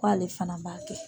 Ko ale fana b'a kɛ